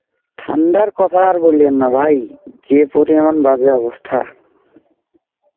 ঠান্ডার কথা আর বলেন না ভাই, যে পরিমান বাজে অবস্থা.